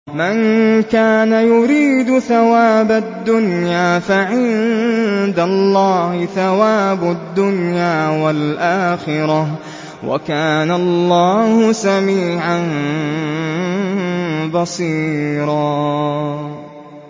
مَّن كَانَ يُرِيدُ ثَوَابَ الدُّنْيَا فَعِندَ اللَّهِ ثَوَابُ الدُّنْيَا وَالْآخِرَةِ ۚ وَكَانَ اللَّهُ سَمِيعًا بَصِيرًا